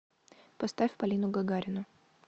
поставь полину гагарину